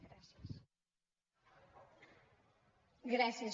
gràcies